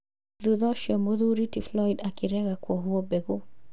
Thutha ũcio mũthuri ti Flyod akĩrega kwohwo bengũ